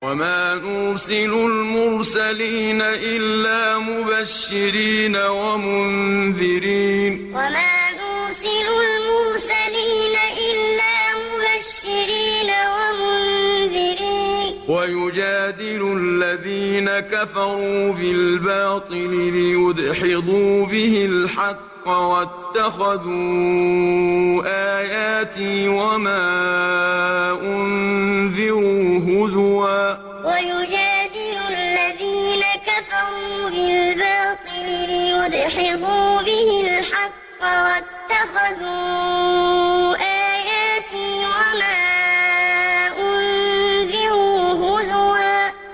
وَمَا نُرْسِلُ الْمُرْسَلِينَ إِلَّا مُبَشِّرِينَ وَمُنذِرِينَ ۚ وَيُجَادِلُ الَّذِينَ كَفَرُوا بِالْبَاطِلِ لِيُدْحِضُوا بِهِ الْحَقَّ ۖ وَاتَّخَذُوا آيَاتِي وَمَا أُنذِرُوا هُزُوًا وَمَا نُرْسِلُ الْمُرْسَلِينَ إِلَّا مُبَشِّرِينَ وَمُنذِرِينَ ۚ وَيُجَادِلُ الَّذِينَ كَفَرُوا بِالْبَاطِلِ لِيُدْحِضُوا بِهِ الْحَقَّ ۖ وَاتَّخَذُوا آيَاتِي وَمَا أُنذِرُوا هُزُوًا